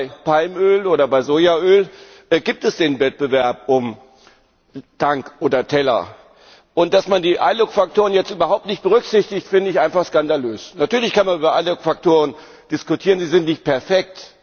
Vor allem bei Palmöl oder bei Sojaöl gibt es den Wettbewerb um Tank oder Teller. Dass man die iLUC Faktoren jetzt überhaupt nicht berücksichtigt, finde ich einfach skandalös. Natürlich kann man über alle Faktoren diskutieren, sie sind nicht perfekt.